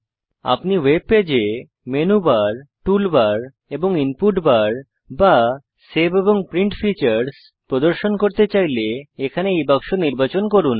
আপনি ওয়েবপেজে menu bar tool bar এবং ইনপুট বার বা সেভ এবং প্রিন্ট ফীচারস প্রদর্শন করতে চাইলে এখানে এই বাক্স নির্বাচন করুন